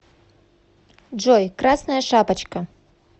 джой красная шапочка